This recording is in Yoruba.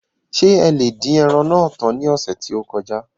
Ṣé ẹ lè dín ẹran náà tán ní ọ̀sẹ̀ tí ó kọjá?